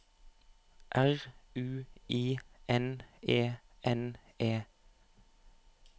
R U I N E N E